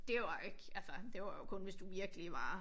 Dét var ikke altså det var jo kun hvis du virkelig var